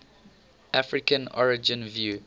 african origin view